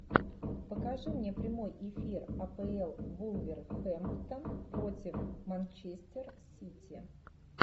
покажи мне прямой эфир апл вулверхэмптон против манчестер сити